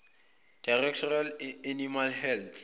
directorate animal health